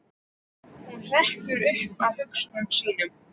Hún hrekkur upp af hugsunum sínum.